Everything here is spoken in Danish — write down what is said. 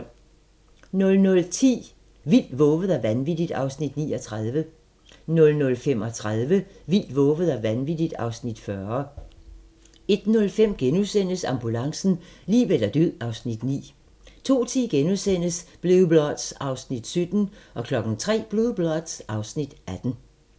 00:10: Vildt, vovet og vanvittigt (Afs. 39) 00:35: Vildt, vovet og vanvittigt (Afs. 40) 01:05: Ambulancen - liv eller død (Afs. 9)* 02:10: Blue Bloods (Afs. 17)* 03:00: Blue Bloods (Afs. 18)